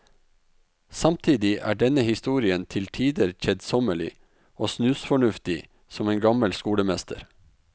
Samtidig er denne historien til tider kjedsommelig og snusfornuftig som en gammel skolemester.